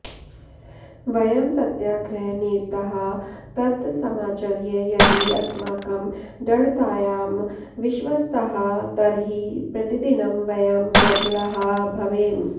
वयं सत्याग्रहनिरताः तत् समाचर्य यदि अस्माकं दृढतायां विश्वस्ताः तर्हि प्रतिदिनं वयं ब्रबलाः भवेम